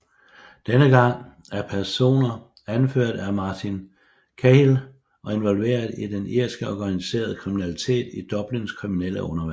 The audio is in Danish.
Denne gang af personer anført af Martin Cahill og involveret i den irske organiseret kriminalitet i Dublins kriminelle undergrund